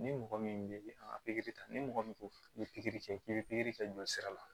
Ni mɔgɔ min bɛ an ka pikiri ta ni mɔgɔ min ko i bɛ pikiri kɛ k'i bɛ pikiri kɛ jolisira la